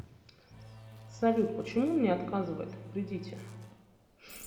салют почему мне отказывает в кредите